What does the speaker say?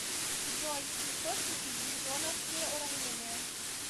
джой источники ньютоновские уравнения